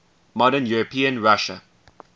modern european russia